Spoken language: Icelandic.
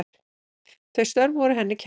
Þau störf voru henni kær.